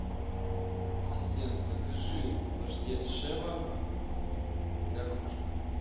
ассистент закажи паштет шева для кошек